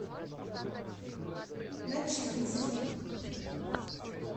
начикинский